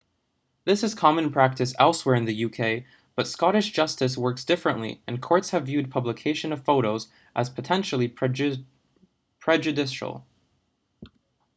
this is common practice elsewhere in the uk but scottish justice works differently and courts have viewed publication of photos as potentially prejudicial